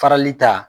Farali ta